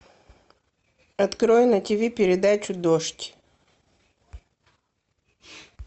открой на тиви передачу дождь